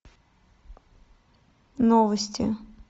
новости